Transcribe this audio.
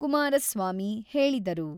ಕುಮಾರಸ್ವಾಮಿ ಹೇಳಿದರು.